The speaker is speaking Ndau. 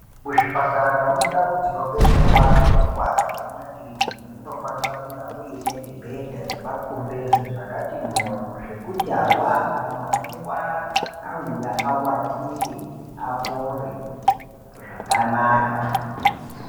Muzvipatara nemundau dzinobetserwa antu nemumakirinika munofanirwa kunge mune mibhedha nemakumbeza zvakati moryo zvekuti antu anorwara auya awatire apore zvakanaka.